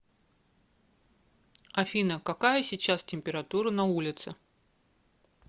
афина какая сейчас температура на улице